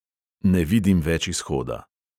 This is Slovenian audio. Ne vidim več izhoda ...